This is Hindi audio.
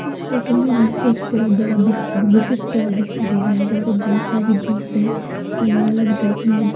इस फोटो में एक बहुत बड़ा बिक बुक स्टोर दिखाई दे रहा है जहां पे बहुत सारी बुक्स है अलग-अलग रेक में रखी --